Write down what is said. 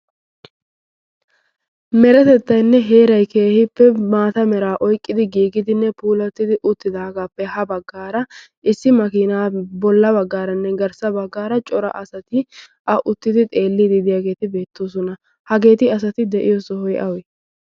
meretettainne heerai keehippe maata meraa oiqqidi giigidinne puulattidi uttidaagaappe ha baggaara issi makiinaa bolla baggaaranne garssa baggaara cora asati a uttidi xeelli diidiyaageeti beettoosona hageeti asati de7iyo sohoi awi?